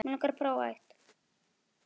Knúsaðu alla frá mér.